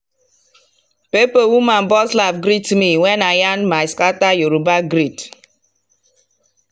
pepper woman burst laugh greet me when i yarn my scattered yoruba greet.